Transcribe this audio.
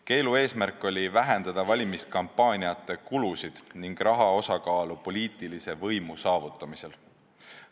Keelu eesmärk oli vähendada valimiskampaaniate kulusid ning raha osakaalu poliitilise võimu saavutamisel.